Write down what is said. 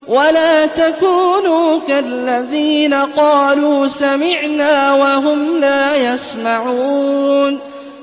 وَلَا تَكُونُوا كَالَّذِينَ قَالُوا سَمِعْنَا وَهُمْ لَا يَسْمَعُونَ